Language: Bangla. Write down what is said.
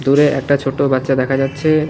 দূরে একটা ছোটো বাচ্চা দেখা যাচ্ছে।